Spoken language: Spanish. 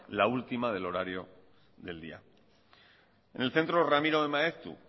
la última del horario del día en el centro ramiro de maeztu